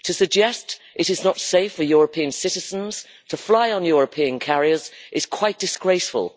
To suggest it is not safe for European citizens to fly on European carriers is quite disgraceful.